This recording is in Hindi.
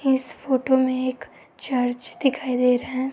इस फोटो में एक चर्च दिखाई दे रहा है।